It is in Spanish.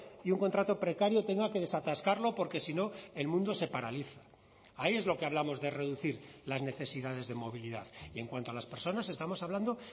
y un contrato precario tenga que desatascarlo porque si no el mundo se paraliza ahí es lo que hablamos de reducir las necesidades de movilidad y en cuanto a las personas estamos hablando